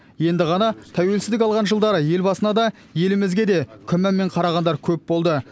енді ғана тәуелсіздік алған жылдары елбасына да елімізге де күмәнмен қарағандар көп болды